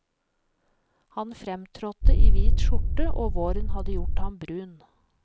Han fremtrådte i hvit skjorte og våren hadde gjort ham brun.